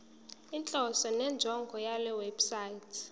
inhloso nenjongo yalewebsite